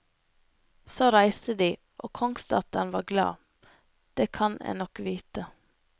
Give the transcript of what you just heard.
Så reiste de, og kongsdatteren var glad, det kan en nok vite.